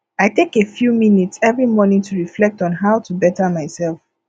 i take a few minutes every morning to reflect on how to better myself